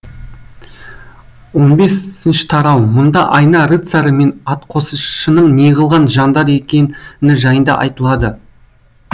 он бесінші тарау мұнда айна рыцары мен атқосшысының неғылған жандар екені жайында айтылады